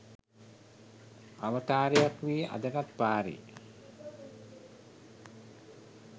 අවතාරයක් වී අදටත් පාරේ